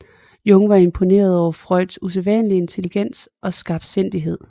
Jung var imponeret over Freuds usædvanlige intelligens og skarpsindighed